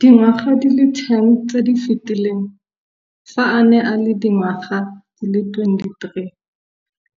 Dingwaga di le 10 tse di fetileng, fa a ne a le dingwaga di le 23